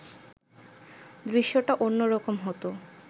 দৃশ্যটা অন্য রকম হতো